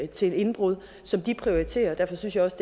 til indbrud som de prioriterer og derfor synes jeg også